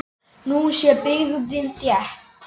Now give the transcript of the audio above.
Nú sé byggðin þétt.